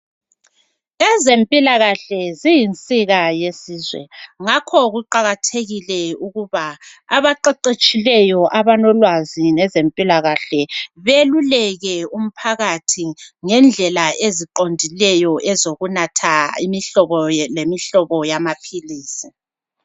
Ezempilakahle ziyinsika yesizwe ngakho kuqakathekile ukuba abaqeqetshileyo abalolwazi ngezempilakahle beluleke umphakathi ngendlela eziqondileyo ezokunatha imihlobo lemihlobo yamaphilisi